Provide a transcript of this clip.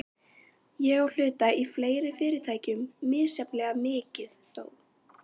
Ég á hluti í fleiri fyrirtækjum, misjafnlega mikið þó.